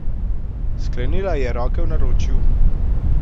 Sklenila je roke v naročju.